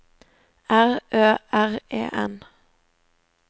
R Ø R E N